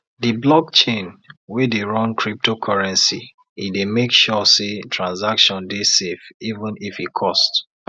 de blockchain wey dey run cryptocurrency e dey make sure say transaction dey safe even if e cost